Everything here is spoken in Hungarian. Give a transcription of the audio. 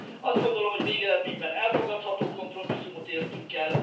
Azt gondolom, hogy végeredményben elfogadható kompromisszumot értünk el.